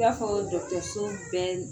I y'afɔ dɔgɔtoso mun bɛ